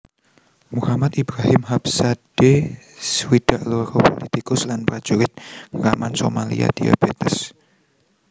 Muhammad Ibrahim Habsade swidak loro pulitikus lan prajurit ngraman Somalia diabétes